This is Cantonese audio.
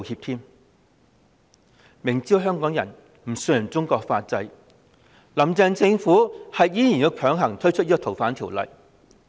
"林鄭"政府明知香港人不信任中國法制，卻仍然強行推出《條例草案》。